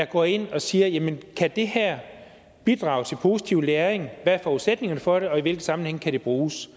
går ind og siger jamen kan det her bidrage til positiv læring hvad er forudsætningerne for det og i hvilken sammenhæng kan det bruges